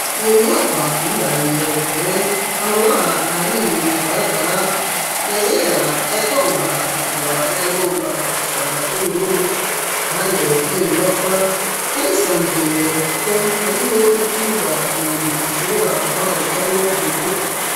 Iyo nyubakwa uyirabiye kure amabara ahanini agaragara n'ayera ayagomba gutukura n'ayagomba gusa n'ubururu iruhande iyo nyubakwa hari sanzuye kuko hariho n'ikibuga umuntu ashobora guhagarikamwo umuduga.